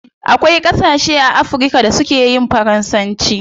Akwai gasashe a africa da su keyin faransanci